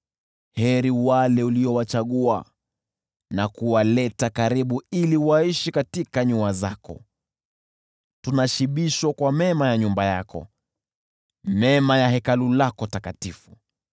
Heri wale uliowachagua na kuwaleta karibu ili waishi katika nyua zako! Tunashibishwa kwa mema ya nyumba yako, mema ya Hekalu lako takatifu.